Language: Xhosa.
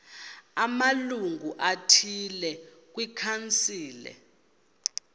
amalungu athile kwikhansile